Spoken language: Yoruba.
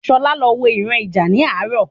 Sola lọ wọ ìran ija ni àárò